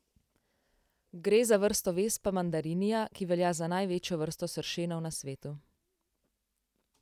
Gre za vrsto vespa mandarinia, ki velja za največjo vrsto sršenov na svetu.